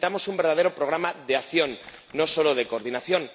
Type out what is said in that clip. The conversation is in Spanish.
Necesitamos un verdadero programa de acción, no solo de coordinación.